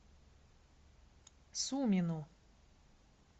сумину